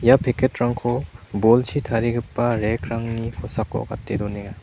ia packet-rangko bolchi tarigipa rack-rangni kosako gate donenga.